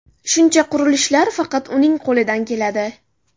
Shuncha qurilishlar faqat uning qo‘lidan keladi.